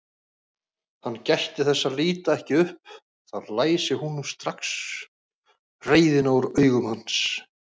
Hann gætti þess að líta ekki upp, þá læsi hún strax reiðina úr augum hans.